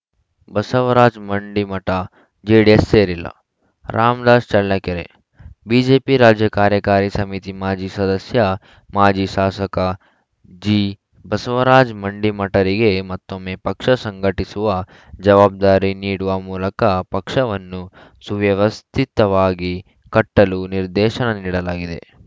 Basavaraj Mandimath JDS ಸೇರಿಲ್ಲ Ramdas Challakere BJP ರಾಜ್ಯ ಕಾರ್ಯಕಾರಿ ಸಮಿತಿ ಮಾಜಿ ಸದಸ್ಯ ಮಾಜಿ ಶಾಸಕ ಜಿಬಸವರಾಜ ಮಂಡಿಮಠರಿಗೆ ಮತ್ತೊಮ್ಮೆ ಪಕ್ಷ ಸಂಘಟಿಸುವ ಜವಾಬ್ದಾರಿ ನೀಡುವ ಮೂಲಕ ಪಕ್ಷವನ್ನು ಸುವ್ಯವಸ್ಥಿತವಾಗಿ ಕಟ್ಟಲು ನಿರ್ದೇಶನ ನೀಡಲಾಗಿದೆ